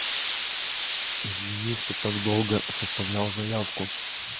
извини что так долго составлял заявку